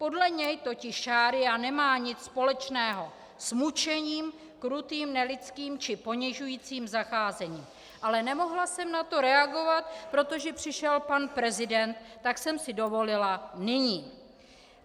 Podle něj totiž šaría nemá nic společného s mučením, krutým, nelidským či ponižujícím zacházením, ale nemohla jsem na to reagovat, protože přišel pan prezident, tak jsem si dovolila nyní.